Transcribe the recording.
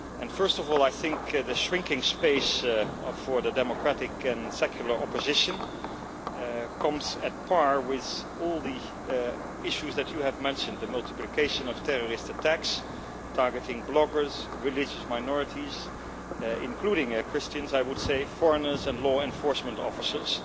First of all, I think the shrinking space for the democratic and secular opposition comes at a par with all the issues that you have mentioned the multiplication of terrorist attacks, targeting bloggers, religious minorities including Christians, I would say foreigners and law enforcement officers.